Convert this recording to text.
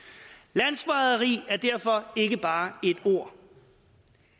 landsforræderi er derfor ikke bare et ord